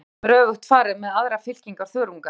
Þessum hlutum er öfugt farið með aðrar fylkingar þörunga.